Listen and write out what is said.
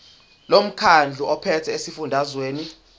lomkhandlu ophethe esifundazweni